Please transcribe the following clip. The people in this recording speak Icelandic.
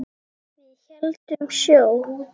Við héldum sjó.